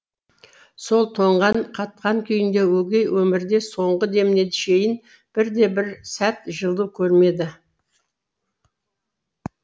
сол тоңған қатқан күйінде өгей өмірде соңғы деміне шейін бірде бір сәт жылу көрмеді